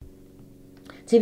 TV 2